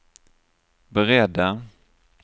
beredda